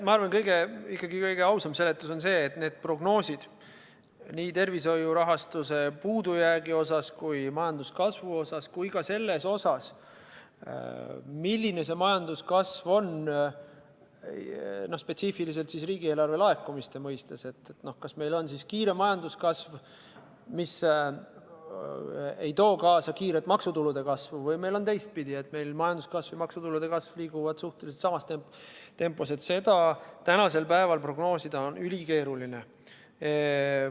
Ma arvan, et kõige ausam seletus on ikkagi see, et prognoosida nii tervishoiu rahastuse puudujääki, majanduskasvu kui ka seda, milline on majanduskasv spetsiifiliselt riigieelarve laekumiste mõistes – kas meil on kiire majanduskasv, mis ei too kaasa kiiret maksutulude kasvu, või on meil teistpidi, nii et majanduskasv ja maksutulude kasv liiguvad suhteliselt samas tempos –, on tänasel päeval ülikeeruline.